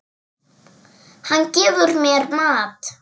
Hann gefur mér mat.